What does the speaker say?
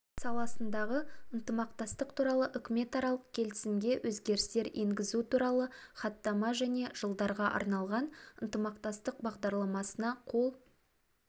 саласындағы ынтымақтастық туралы үкіметаралық келісімге өзгерістер енгізу туралы хаттама және жылдарға арналған ынтымақтастық бағдарламасына қол